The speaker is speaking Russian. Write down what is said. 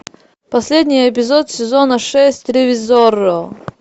последний эпизод сезона шесть ревизорро